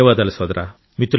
ధన్యవాదాలు సోదరా